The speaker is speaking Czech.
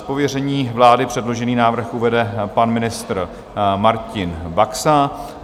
Z pověření vlády předložený návrh uvede pan ministr Martin Baxa.